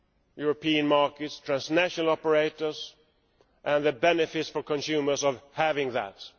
European markets, transnational operators, and the benefits for consumers of having those.